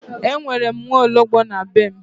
E nwere m nwaologbo na be m.